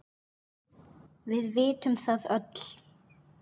Við vitum það öll.